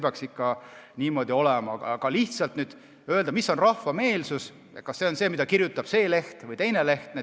Aga on väga raske öelda, milline on rahva meelsus, kas see on see, nagu kirjutab see leht või teine leht.